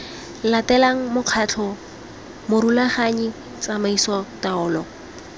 latelang mokgatlho morulaganyi tsamaiso taolo